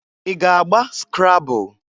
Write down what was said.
I ga-agba skrabul?